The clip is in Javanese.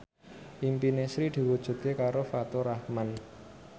impine Sri diwujudke karo Faturrahman